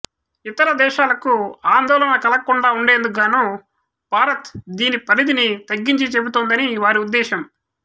ఇతర దేశాలకు ఆందోళన కలగకుండా ఉండేందుకు గాను భారత్ దీని పరిధిని తగ్గించి చెబుతోందని వారి ఉద్దేశం